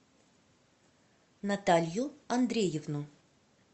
наталью андреевну